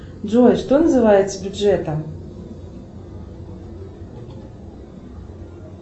джой что называется бюджетом